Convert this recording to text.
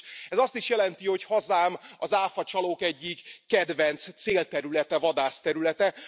Ez azt is jelenti, hogy hazám az áfacsalók egyik kedvenc célterülete, vadászterülete.